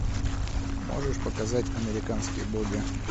можешь показать американские боги